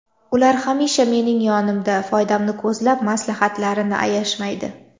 Ular hamisha mening yonimda, foydamni ko‘zlab maslahatlarini ayashmaydi.